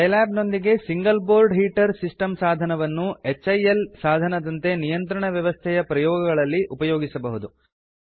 Scilab ನೊಂದಿಗೆ single board heater system ಸಾಧನವನ್ನು HIL ಸಾಧನದಂತೆ ನಿಯಂತ್ರಣ ವ್ಯವಸ್ಥೆಯ ಪ್ರಯೋಗಗಳಲ್ಲಿ ಉಪಯೋಗಿಸಬಹುದು